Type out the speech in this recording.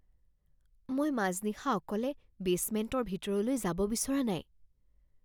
মই মাজনিশা অকলে বেচমেণ্টৰ ভিতৰলৈ যাব বিচৰা নাই